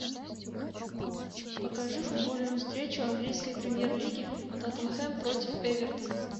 покажи футбольную встречу английской премьер лиги тоттенхэм против эвертона